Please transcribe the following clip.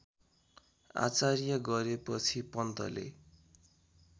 आचार्य गरेपछि पन्तले